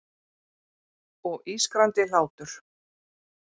Og ískrandi hlátur.